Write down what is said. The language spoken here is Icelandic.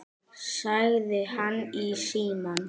sagði hann í símann.